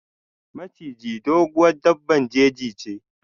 Maciji, doguwar daɓɓan jeji che.